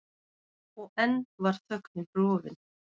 Og enn var þögnin rofin.